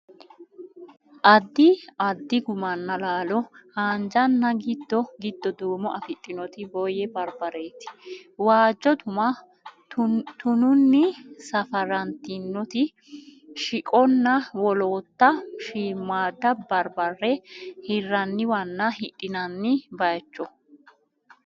Addi addi gummanna laalo: haanjanna giddo giddo duumo afidhinoti boyye barbareeti, waajjo tuma, tununni safarantinoti shiqonna wolootta shiimmaadda barbare hirranniwanna hidhinanni baayicho.